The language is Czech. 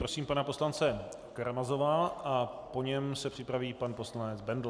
Prosím pana poslance Karamazova a po něm se připraví pan poslanec Bendl.